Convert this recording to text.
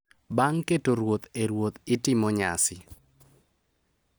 Bang’ keto ruoth e ruoth, itimo nyasi